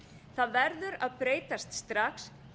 það verður að breytast strax